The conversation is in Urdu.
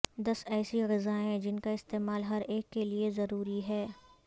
دس ایسی غذائیں جن کا استعمال ہر ایک کے لئے ضروری ہے